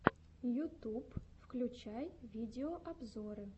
ютюб включай видеообзоры